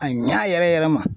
A ɲa yɛrɛ yɛrɛ ma